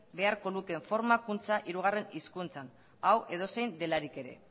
beharko luketen formakuntza hirugarren hizkuntzan hau edozein delarik ere